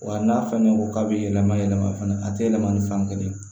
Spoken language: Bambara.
Wa n'a fɛnɛ ko k'a be yɛlɛma yɛlɛma fana a te yɛlɛma ni fankelen ye